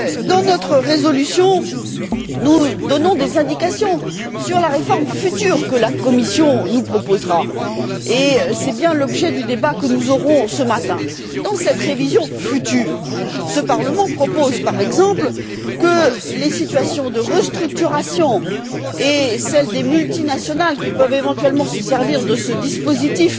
Dans notre résolution, nous donnons des indications sur la réforme future que la Commission nous proposera, et c'est bien l'objet du débat que nous aurons ce matin. Dans cette révision future, ce Parlement propose, par exemple, que les situations de restructuration et celles des multinationales, qui peuvent éventuellement se servir de ce dispositif